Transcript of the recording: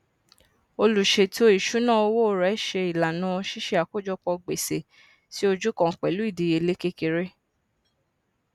oluṣètò ìṣúná owó rẹ ṣe ìlànà ṣiṣẹ àkójọpọ gbèsè sí ojú kan pẹlú ìdíyelé kékeré